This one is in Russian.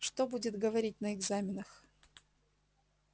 что будет говорить на экзаменах